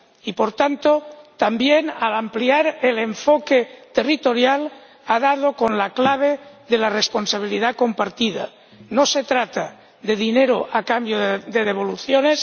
Y, por tanto, también al ampliar el enfoque territorial, ha dado con la clave de la responsabilidad compartida no se trata de dinero a cambio de devoluciones